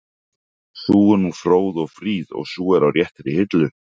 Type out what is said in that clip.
Sú er nú fróð og fríð og sú er á réttri hillu